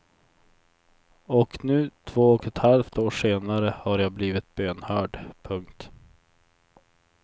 Och nu två och ett halvt år senare har jag blivit bönhörd. punkt